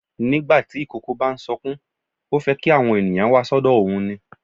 Nígbà tí ìkókó bá ń sọkún, ó fẹ́ kí àwọn ènìyàn wá sọ́dọ̀ òun ni.